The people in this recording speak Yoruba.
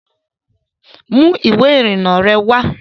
Mú ìwé ìrìnnà rẹ wá